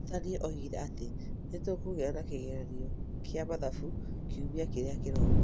Mũrutani oigire atĩ nĩ tũkũgĩa na kĩgeranio kĩa mathabu kiumia kĩrĩa kĩroka